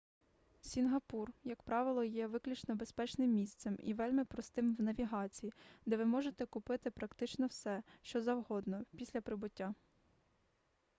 сінгапур як правило є виключно безпечним місцем і вельми простим в навігації де ви можете купити практично все що завгодно після прибуття